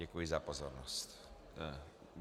Děkuji za pozornost.